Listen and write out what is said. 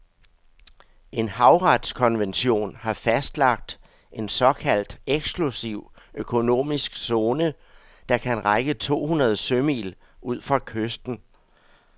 En havretskonvention har fastlagt en såkaldt eksklusiv økonomisk zone, der kan række to hundrede sømil ud fra kysten.